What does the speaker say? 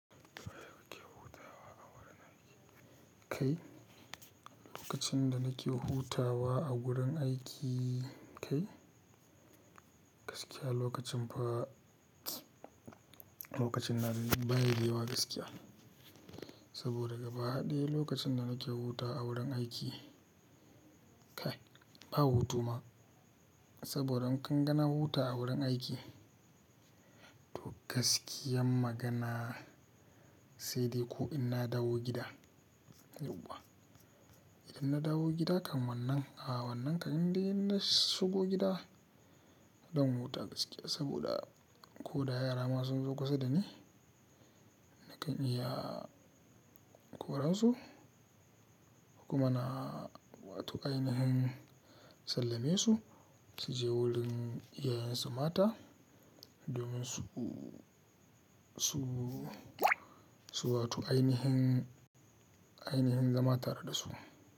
Ba bukyau hutawa a wurin aiki kai. Lokacin da nake hutawa a wurin aiki kai gaskiya lokacin fa lokacin na baya da yawa gaskiya. Saboda gaba ɗaya lokacin da nake hutawa a wurin aiki kai ba hutu ma. Saboda in kan gana huta a wurin aiki to gaskiyan magana sai dai ko in na dawo gida yau wa. Idan na dawo gida kam wannan a wannan kam in dai in na shigo gida don huta gaskiya saboda ko da yara masu nzoku sada ne nakan iya ƙoransu kuma na wato ainihin sallamesu su je wurin iyayensu mata domin su su su wato ainihin ainihin zamantare da su.